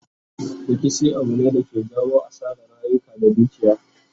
Rikici Abu ne da ke jawo asaran rayuka da dukiya